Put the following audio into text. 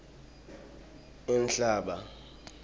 inhlaba